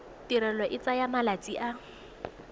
tirelo e tsaya malatsi a